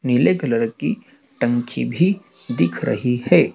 नीले कलर की टंकी भी दिख रही है।